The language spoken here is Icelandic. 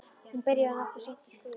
Hún byrjaði nokkuð seint að skrifa.